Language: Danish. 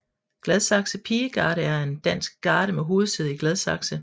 Gladsaxe Pigegarde er en dansk garde med hovedsæde i Gladsaxe